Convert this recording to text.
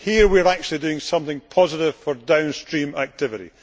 Here, we are actually doing something positive for downstream activity.